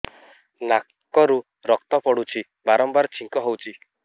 ନାକରୁ ରକ୍ତ ପଡୁଛି ବାରମ୍ବାର ଛିଙ୍କ ହଉଚି